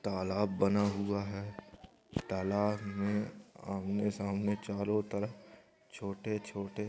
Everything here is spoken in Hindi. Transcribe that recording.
तालाब बना हुआ हे तालाब मे आमने -सामने चारों तरफ छोटे-छोटे--